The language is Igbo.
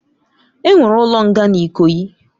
Onwere ulo nga n'Ikoyi.